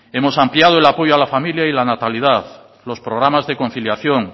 hemos ampliado el apoyo a la familia y la natalidad los programas de conciliación